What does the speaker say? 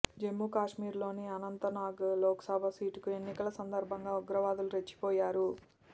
జమ్మూకశ్మీర్లోని అనంతనాగ్ లోక్సభ సీటుకు ఎన్నికల సందర్భంగా ఉగ్రవాదులు రెచ్చిపోయారు